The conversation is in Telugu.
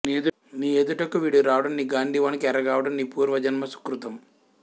నీ ఎదుటకు వీడు రావడం నీ గాండీవానికి ఎరగావడం నీ పూర్వ జన్మ సుకృతం